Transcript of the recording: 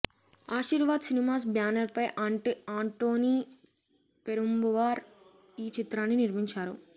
Aashirvaad cinemas banner పై ఆంటోనీ పెరుంబవూర్ ఈ చిత్రాన్ని నిర్మించారు